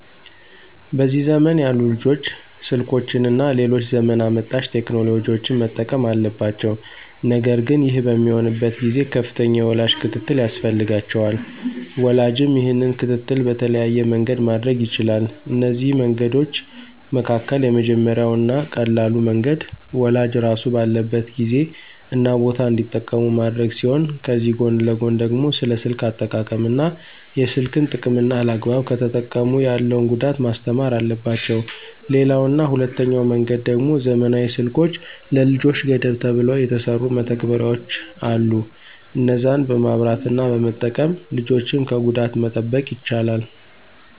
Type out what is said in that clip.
በዚህ ዘመን ያሉ ልጆች ስልኮችን እና ሌሎች ዘመን አመጣሽ ቴክኖሎጂዎችን መጠቀም አለባቸው ነገር ግን ይህ በሚሆንበት ጊዜ ከፍተኛ የወላጅ ክትትል ያስፈልጋቸዋል። ወላጅም ይህንን ክትትል በተለያየ መንገድ ማድረግ ይችላል፤ ከነዚህ መንገዶች መካከል የመጀመሪያው እና ቀላሉ መንገድ ወላጅ ራሱ ባለበት ጊዜ እና ቦታ እንዲጠቀሙ ማድረግ ሲሆን ከዚህ ጎን ለጎን ደግሞ ስለ ስልክ አጠቃቀም እና የስልክን ጥቅምና አላግባብ ከተጠቀሙ ያለውን ጉዳት ማስተማር አለባቸው። ሌላው እና ሁለተኛው መንገድ ደሞ ዘመናዊ ስልኮች ለልጆች ገደብ ተብለው የተሰሩ መተግበሪያዎች አሉ እነዛን በማብራት እና በመጠቀም ልጆችን ከጉዳት መጠበቅ ይቻላል።